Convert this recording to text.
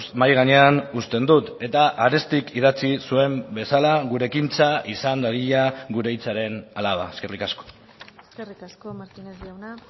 mahai gainean uzten dut eta arestik idatzi zuen bezala gure ekintza izan dadila gure hitzaren alaba eskerrik asko eskerrik asko martínez jauna